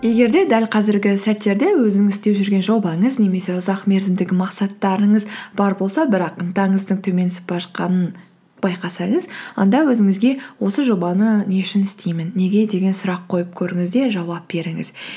егер де дәл қазіргі сәттерде өзіңіз істеп жүрген жобаңыз немесе ұзақ мерзімдік мақсаттарыңыз бар болса бірақ ынтаңыздың төмен түсіп бара жатқанын байқасаңыз онда өзіңізге осы жобаны не үшін істеймін неге деген сұрақ қойып көріңіз де жауап беріңіз